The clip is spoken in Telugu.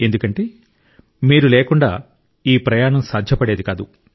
ఎందుకంటే మీరు లేకుండా ఈ ప్రయాణం సాధ్యపడేది కాదు